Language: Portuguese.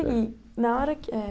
seguir. Na hora que eh